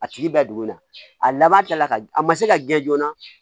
A tigi bɛ dugu in na a laban ta la a ma se ka gɛn joona